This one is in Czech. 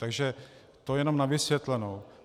Takže to jen na vysvětlenou.